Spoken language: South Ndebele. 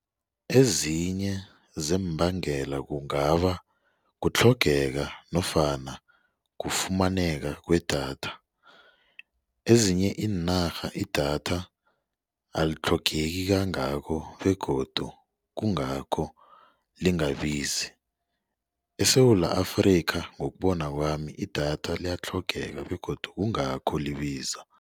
Ezinye zeembangele kungaba kutlhogeka nofana kufumaneka kwedatha ezinye iinarha idatha alitlhogeki kangako begodu kungakho lingabizi. ESewula Afrika ngokubona kwami idatha liyatlhogeka begodu kungakho libiza.